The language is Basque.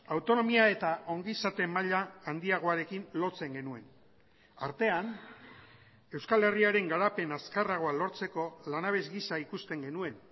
autonomia eta ongizate maila handiagoarekin lotzen genuen artean euskal herriaren garapen azkarragoa lortzeko lanabes gisa ikusten genuen